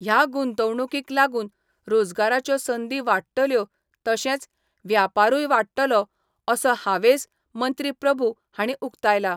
ह्या गुंतोवणुकीक लागून रोजगाराच्यो संदी वाडटल्यो तशेंच व्यापारूय वाडटलो असो हावेस मंत्री प्रभू हांणी उक्तायला.